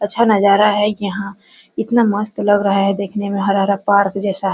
अच्छा नजारा है यहां इतना मस्त लग रहा है देखने में हरा-हरा पार्क जैसा --